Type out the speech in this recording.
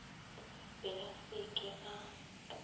be a sa ke a